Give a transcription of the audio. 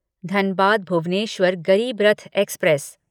Dhanbad Bhubaneswar Garib Rath express